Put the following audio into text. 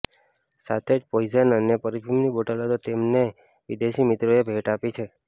સાથે જ પોઈઝન અને પરફ્યુમની બોટલો તો તેમને વિદેશી મિત્રોએ ભેટ આપી છે